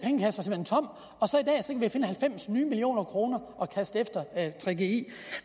vi finde halvfems nye millioner kroner og kaste efter gggi